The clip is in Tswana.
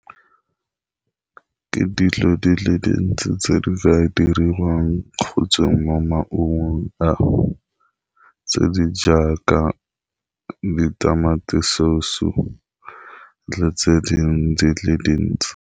Ke dilo di le dintsi tse di ka diriwang kgotsa mo maungong ao, tse di jaaka ditamati source le tse dingwe di le dintsi.